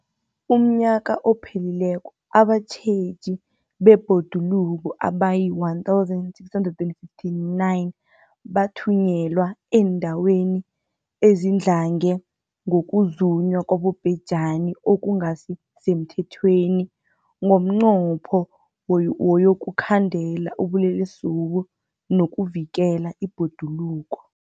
UmNnyaka ophelileko abatjheji bebhoduluko abayi-1 659 bathunyelwa eendaweni ezidlange ngokuzunywa kwabobhejani okungasi semthethweni ngomnqopho wokuyokukhandela ubulelesobu nokuvikela ibhoduluko.